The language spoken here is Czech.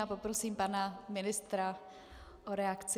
Já poprosím pana ministra o reakci.